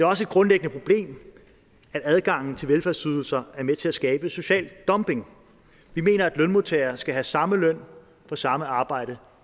også et grundlæggende problem at adgangen til velfærdsydelser er med til at skabe social dumping vi mener at lønmodtagere skal have samme løn for samme arbejde